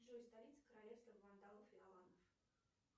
джой столица королевства вандалов и аланов